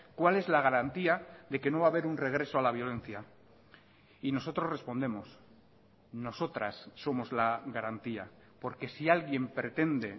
cuál es la garantía de que no va a haber un regreso a la violencia y nosotros respondemos nosotras somos la garantía porque si alguien pretende